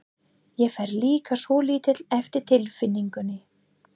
Ég fer líka svolítið eftir tilfinningunni.